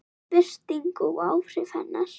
Birting og áhrif hennar.